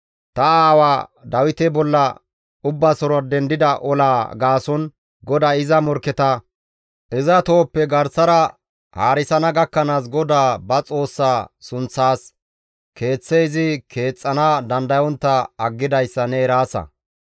«Ta aawaa Dawite bolla ubbasora dendida olaa gaason GODAY iza morkketa iza tohoppe garsara haarisana gakkanaas GODAA ba Xoossaa sunththaas Keeththe izi keexxana dandayontta aggidayssa ne eraasa.